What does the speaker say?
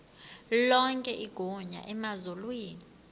lonke igunya emazulwini